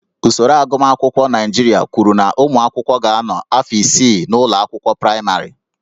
Usoro agụmakwụkwọ Naịjirịa kwuru na ụmụ akwụkwọ ga-anọ afọ isii n'ụlọ akwụkwọ praịmarị